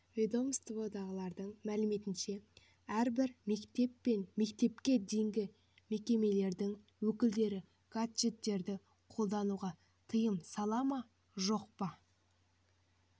ведомстводағылардың мәліметінше әрбір мектеп пен мектепке дейінгі мекемелердің өкілдері гаджеттерді қолдануға тыйым сала ма жоқ па